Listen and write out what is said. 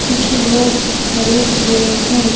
कुछ लोग खड़े हुए हैं।